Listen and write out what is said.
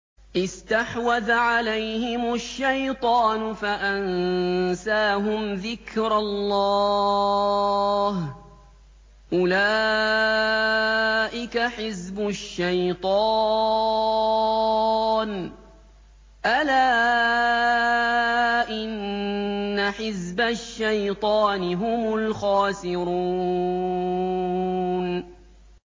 اسْتَحْوَذَ عَلَيْهِمُ الشَّيْطَانُ فَأَنسَاهُمْ ذِكْرَ اللَّهِ ۚ أُولَٰئِكَ حِزْبُ الشَّيْطَانِ ۚ أَلَا إِنَّ حِزْبَ الشَّيْطَانِ هُمُ الْخَاسِرُونَ